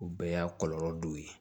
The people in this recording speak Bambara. O bɛɛ y'a kɔlɔlɔ dɔ ye